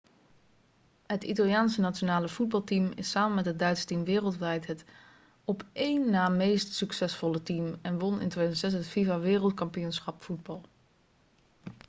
het italiaanse nationale voetbalteam is samen met het duitse team wereldwijd het op één na meest succesvolle team en won in 2006 het fifa-wereldkampioenschap voetbal